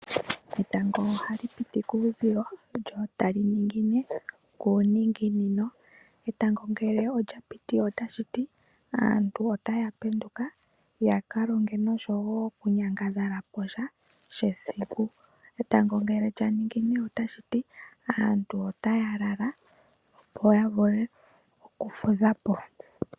Etango ohali piti kuuzilo, lyo tali ningine kuuninginino. Etango ngele olya piti otashiti aantu otaya penduka ya kalonge nosho wo okunyangadhala posha she siku. Etango ngele lya ningine otashiti aantu otaya lala opo ya vule oku fudha po.